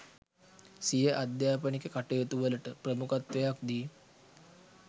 සිය අධ්‍යාපනික කටයුතු වලට ප්‍රමුඛත්වයක් දී